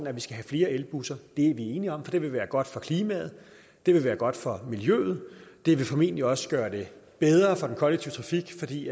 at vi skal have flere elbusser er vi enige om det vil være godt for klimaet det vil være godt for miljøet det vil formentlig også gøre det bedre for den kollektive trafik fordi